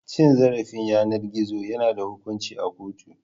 Cin zarafin yanar gizo yana da hukunci a kotu.